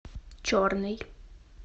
черный